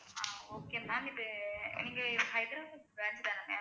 ஆஹ் okay ma'am இது நீங்க Hyderabad branch தானங்க?